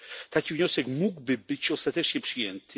taki wniosek mógłby być ostatecznie przyjęty?